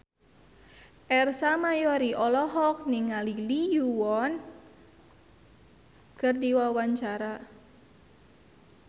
Ersa Mayori olohok ningali Lee Yo Won keur diwawancara